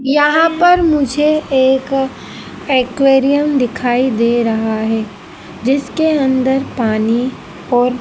यहां पर मुझे एक एक्वेरियम दिखाई दे रहा है जिसके अंदर पानी और--